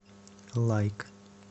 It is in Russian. лайк